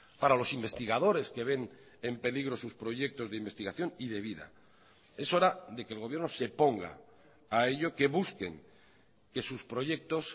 para los investigadores que ven en peligro sus proyectos de investigación y de vida es hora de que el gobierno se ponga a ello que busquen que sus proyectos